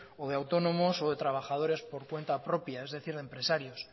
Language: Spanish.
o de autónomos o de trabajadores por cuenta propia es decir de empresarios